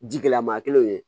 Ji gɛlɛma kelenw ye